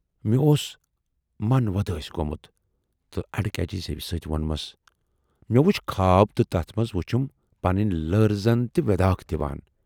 اوس من وۄدٲسۍ گومُت تہٕ اڈٕ کجہِ زیوِ سۭتۍ وونمس"مےٚ وُچھ خاب تہٕ تَتھ منز وُچھِم پنٕنۍ لٔر زَن تہِ وٮ۪داکھ دِوان۔